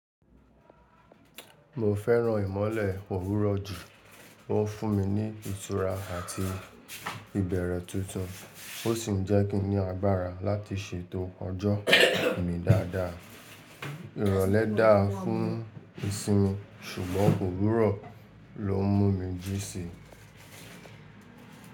Mo fẹ́ràn ìmọ́lẹ̀ òwúrọ̀ jù, ó ń fún mi ní ìtura àti ìbẹ̀rẹ̀ tuntun, ó sì ń jẹ́ kí n ní agbára láti ṣètò ọjọ́ mi dáadáa. Ìrọ̀lẹ́ dáa fún ìsinmi ṣùgbọ́n òwúrọ̀ ló ń mú mi jí sí i.